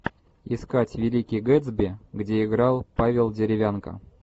искать великий гэтсби где играл павел деревянко